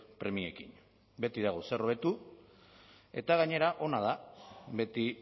premiekin beti dago zer hobetu eta gainera ona da beti